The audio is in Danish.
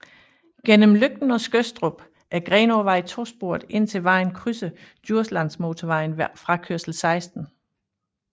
Gennem Løgten og Skødstrup er Grenåvej tosporet indtil vejen krydser Djurslandmotorvejen ved frakørsel 16